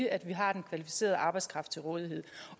at vi har kvalificeret arbejdskraft til rådighed